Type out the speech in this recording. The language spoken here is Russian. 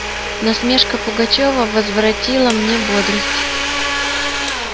насмешка пугачёва возвратила мне бодрость